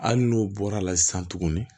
Hali n'u bɔra la sisan tuguni